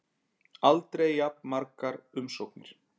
Aldrei jafn margar umsóknir